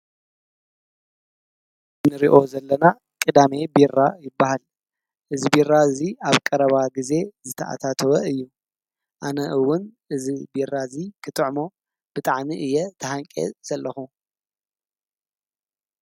እዚ እንሪኦ ዘለና ቅዳሜ ቢራ ይበሃል፡፡ እዚ ቢራ እዚ ኣብ ቀረባ ግዜ ዝተኣታተወ እዩ፡፡ ኣነ እውን እዚ ቢራ እዚ ክጥዕሞ ብጣዕሚ እየ ተሃንጥየ ዘለኩ፡፡